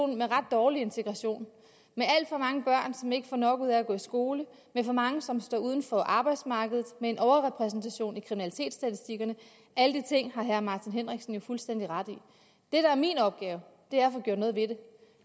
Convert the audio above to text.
med ret dårlig integration med alt for mange børn som ikke får nok ud af at gå i skole med for mange som står uden for arbejdsmarkedet med en overrepræsentation i kriminalitetsstatistikkerne alle de ting har herre martin henriksen jo fuldstændig ret i det der er min opgave er at få gjort noget ved det